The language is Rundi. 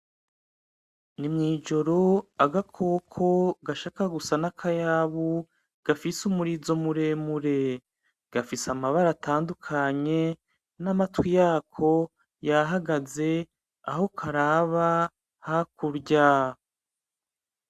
Ni mwijoro agakoko gashaka gusa nakayabu gafise umurizo muremure, gafise amabara atandukanye amatwi yako yahagaze aho karaba ni hakurya.